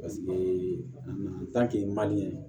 Paseke a nana